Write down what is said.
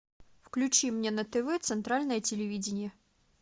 включи мне на тв центральное телевидение